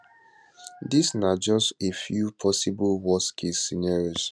dis na just a few possible worstcase scenarios